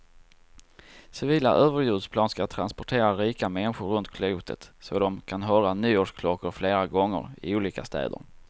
Civila överljudsplan ska transportera rika människor runt klotet så de kan höra nyårsklockor flera gånger, i olika städer.